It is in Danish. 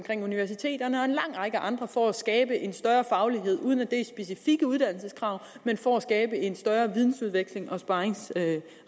universiteterne og en lang række andre for at skabe en større faglighed uden at det er specifikke uddannelseskrav men for at skabe en større vidensudveksling og sparringsrelation